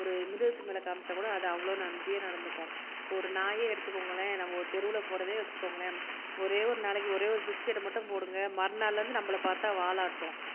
ஒரு மிருகத்துமேல காமிச்சாகூட அது அவ்வளவு நன்றியா நடந்துக்கும் ஒரு நாயே எடுத்துகோங்களேன் நம்ம ஒரு தெருவுல போறதையே வச்சுக்கோங்களேன் ஒரே ஒரு நாளைக்கு ஒரே ஒரு பிஸ்க்கட்டை மட்டும் போடுங்க மறுநாள்ல இருந்து நம்மள பாத்தா வால் ஆட்டும்